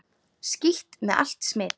Skítt með allt smit!